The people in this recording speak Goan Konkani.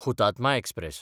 हुतात्मा एक्सप्रॅस